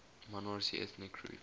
minority ethnic groups